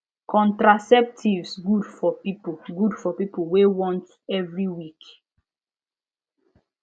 contraceptives good for people good for people wey want every week